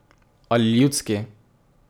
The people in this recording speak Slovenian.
Ali ljudski.